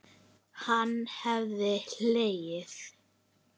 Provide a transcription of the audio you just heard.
Hann hafði hlegið.